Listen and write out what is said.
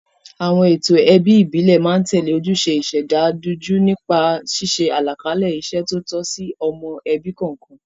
Àwọn ètò ẹbí ìbílẹ̀ máa ń tẹ̀lé ojúṣe ìṣẹ̀dá dunjú nípa ṣíṣe àlàkalẹ̀ iṣẹ́ tó tọ́ sí ọmọ ẹbí kọ̀ọ̀kan.